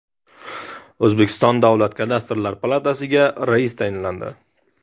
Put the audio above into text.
O‘zbekiston Davlat kadastrlari palatasiga rais tayinlandi.